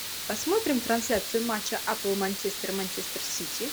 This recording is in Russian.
посмотрим трансляцию матча апл манчестер манчестер сити